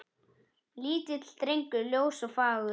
Lítill drengur ljós og fagur.